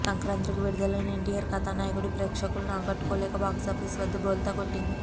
సంక్రాంతికి విడుదలైన ఎన్టీఆర్ కథయకుడు ప్రేక్షకులని ఆకట్టుకోలేక బాక్సాఫీస్ వద్ద బోల్తా కొట్టింది